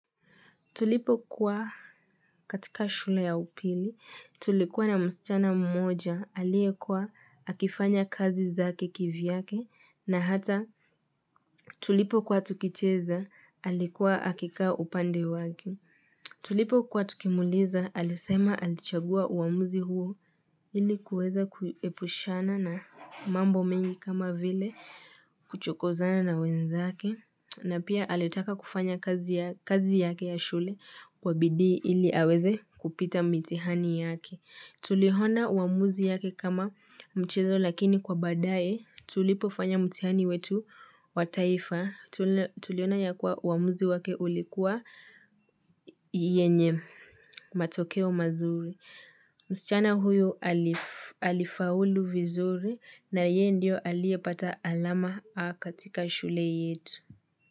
Tulipo kuwa katika shule ya upili, tulikuwa na msichana mmoja, aliyekua akifanya kazi zake kivyake, na hata tulipo kuwa tukicheza, alikuwa akika upande wake. Tulipo kuwa tukimuuliza alisema alichagua uamuzi huo ilikuweza kuhepushana na mambo mengi kama vile kuchokozana na wenzake na pia alitaka kufanya kazi yake ya shule kwa bidii ili aweze kupita mithiani yake Tuliona uamuzi yake kama mchezo lakini kwa badae tulipofanya mtihani wetu wa taifa tuliona ya kuwa uamuzi wake ulikuwa yenye matokeo mazuri msichana huyu alifaulu vizuri na yeye ndio aliye pata alama A katika shule yetu.